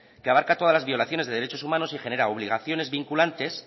que barca todas las violaciones de derechos humanos y genera obligaciones vinculantes